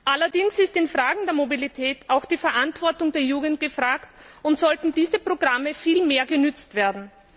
Allerdings ist in Fragen der Mobilität auch die Verantwortung der Jugend gefragt, und diese Programme sollten viel mehr genutzt werden.